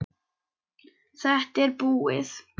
Þetta er búið.